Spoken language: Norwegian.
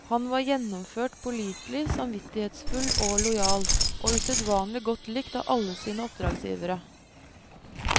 Han var gjennomført pålitelig, samvittighetsfull og lojal, og usedvanlig godt likt av alle sine oppdragsgivere.